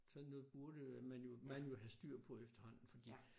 Sådan noget burde man jo man jo have styr på efterhånden fordi